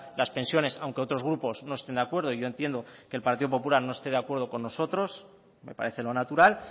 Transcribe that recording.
las pensiones aunque otros grupos no estén de acuerdo yo entiendo que el partido popular no esté de acuerdo con nosotros me parece lo natural